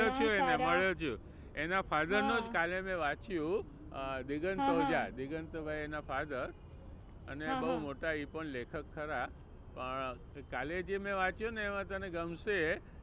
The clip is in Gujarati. મળ્યો છુ એને મળ્યો છું. એના father નું જ કાલે મેં વાંચ્યું અ દિગંત ઓઝા. દિગંતભાઈ એના father અને બહુ મોટા એ પણ લેખક ખરા પણ કાલે જે મેં વાંચ્યુંને એમાં તને ગમશે.